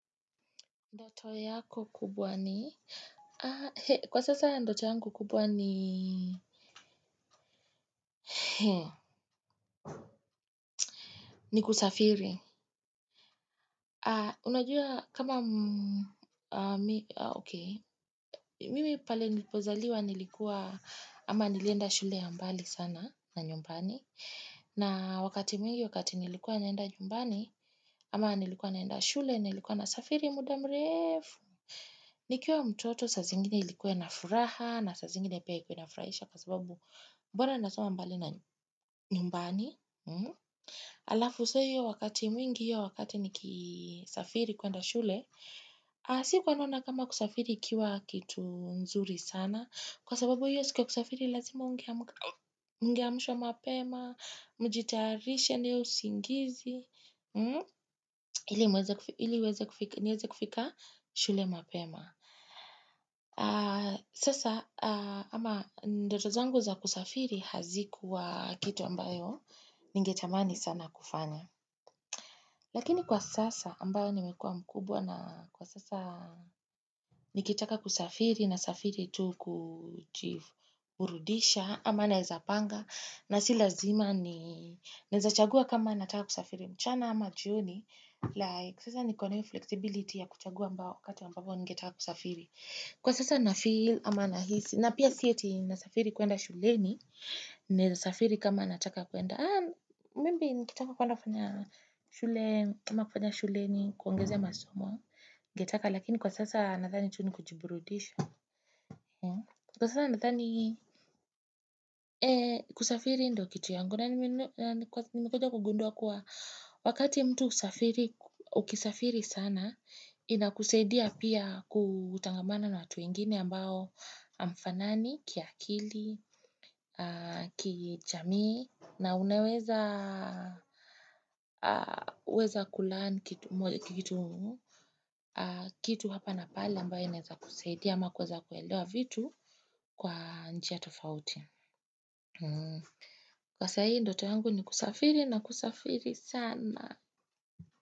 Ndoto yako kubwa ni, kwa sasa ndoto yangu kubwa ni, ni kusafiri. Unajua kama, mimi pale nipozaliwa nilikuwa ama nilienda shule ya mbali sana na nyumbani. Na wakati mwingi, wakati nilikuwa naenda nyumbani, ama nilikuwa naenda shule, nilikuwa na safiri mudamrefu. Nikiwa mtoto saa zingine ilikuwa na furaha na saa zingine ipia ikuina furahisha kwa sababu mbona nasoma mbali na nyumbani. hAlafu so hiyo wakati mwingi hiyo wakati nikisafiri kwenda shule. Sikuwa nnona kama kusafiri ikiwa kitu nzuri sana. Kwa sababu hiyo siku ya kusafiri lazima ungeamshwa mapema, mjitarishe na hiyo usingizi. Ili niweze kufika shule mapema. Sasa ama ndoto zangu za kusafiri hazikuwa kitu ambayo ningetamani sana kufanya lakini kwa sasa ambayo nimekua mkubwa na kwa sasa nikitaka kusafiri nasafiri tu kujiburudisha ama naezapanga na si lazima ni nawezachagua kama nataka kusafiri mchana ama jioni sasa nikona hiyo flexibility ya kuchagua ambayo wakati ambapo ningetaka kusafiri Kwa sasa nafeel ama nahisi, na pia sieti nasafiri kuenda shuleni, naweza safiri kama nataka kuenda, maybe nikitaka kuenda kama kufanya shuleni, kuongeza masomo, nigetaka, lakini kwa sasa nathani tu ni kujiburudisha. Kwa sana nadhani Eee kusafiri ndio kitu yangu. Nani mekuja kugundua kuwa wakati mtu ukisafiri sana ina kusaidia pia kutangamana na watu wengini ambao hamfanani, kiakili, kijamii na unaweza weza kulearn kitu Kitu hapa na pale ambayo inaweza kusaidia ama kuweza kuelewa vitu Kwa njia tofauti Kwa sahii ndoto yangu ni kusafiri na kusafiri sana.